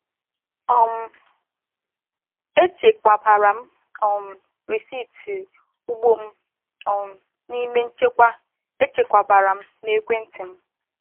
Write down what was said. um Echekwabara m um risiti ugbo m um n’ime nchekwa echekwabara na ekwenti m.